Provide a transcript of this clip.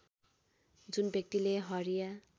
जुन व्यक्तिले हरिया